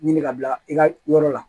Ɲini ka bila i ka yɔrɔ la